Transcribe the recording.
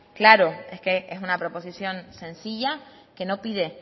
claro es que es una proposición sencilla que no pide